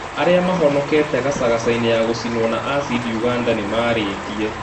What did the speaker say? Aria mahonokete gacagacaine ya gucinwo na acidi Uganda nĩmaretie